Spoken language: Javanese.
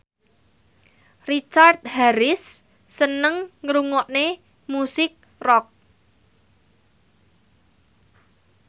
Richard Harris seneng ngrungokne musik rock